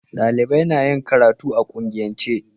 Dalibai na yin karatu a kungiyance